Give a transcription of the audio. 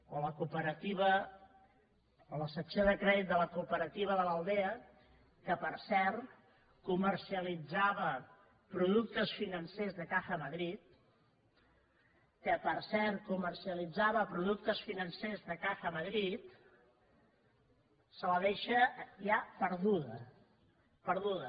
o la secció de crèdit de la cooperativa de l’aldea que per cert comercialitzava productes financers de caja madrid que per cert comercialitzava productes financers de caja madrid se la deixa ja perduda perduda